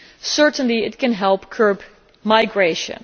Certainly it can help curb migration.